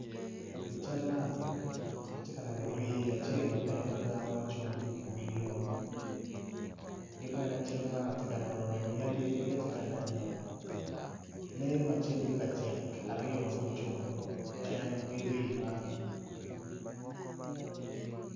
I cal man atye ka neno rii acel maleng mada ma ocung iwi lum ki bene i cal man atye ka neno bene yadi ki atye ka neno lee ma cal ki lacek aryo mucung cen ki rii man.